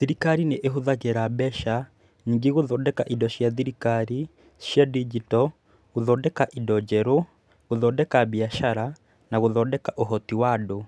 Thirikari nĩ ĩhũthagĩra mbeca nyingĩ gũthondeka indo cia thirikari cia digito, gũthondeka indo njerũ, gũthondeka biacara, na gũthondeka ũhoti wa andũ.